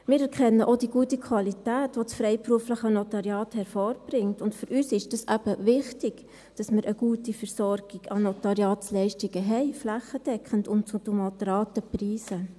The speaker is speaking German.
Wir erkennen auch die gute Qualität, die das freiberufliche Notariat hervorbringt, und für uns ist es eben wichtig, dass wir eine gute Versorgung von Notariatsleistungen haben, flächendeckend und zu moderaten Preisen.